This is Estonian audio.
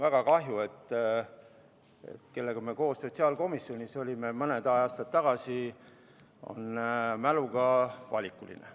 Väga kahju, et neil, kellega me mõned aastad tagasi koos sotsiaalkomisjonis olime, on mälu valikuline.